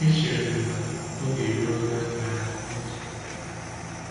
Echere m na oge eruola ile anya n’uzo ndị ọzọ.”